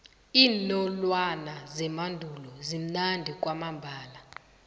iinolwana zemandulo zimnandi kwamambala